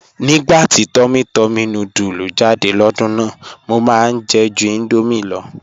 "̀Nígbà tí túmmỳ túmmỳ núdùlù jáde lódùn náà, mọ̀ máá jẹ̀ jù Indomie ló.